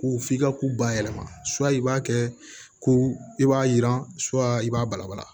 Ko f'i ka ko bayɛlɛma i b'a kɛ ko i b'a yira i b'a balabala